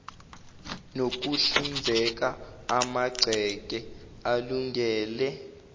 nokuhlinzeka amagceke alungele